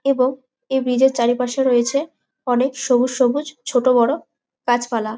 এবং এই ব্রিজের এর চারিপাশে রয়েছে অনেক সবুজ সবুজ ছোট বড়ো গাছ পালা।